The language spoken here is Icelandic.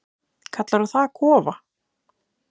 Kallarðu það kofa?